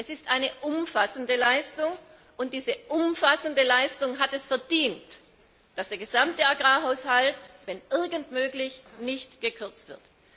Es ist eine umfassende Leistung, und diese umfassende Leistung hat es verdient, dass der gesamte Agrarhaushalt, wenn irgend möglich, nicht gekürzt wird.